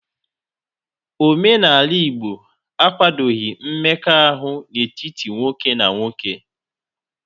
Omenala Igbo akwadoghi mmekọahụ n'etiti nwoke na nwoke.